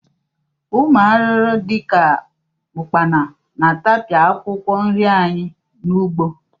Ụmụ arụrụ dị ka ụkpana na-atapịa akwụkwọ nri anyị n'ugbo